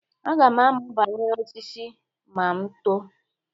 Aga m amụ banyere osisi ma m too.